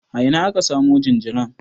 A ina aka samo jinjiran?